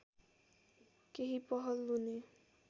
केही पहल हुने